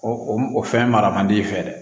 O o fɛn mara man di i fɛ dɛ